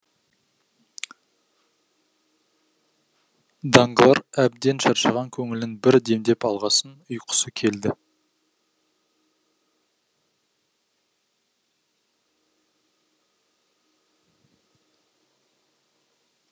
данглар әбден шаршаған көңілін бір демдеп алғасын ұйқысы келді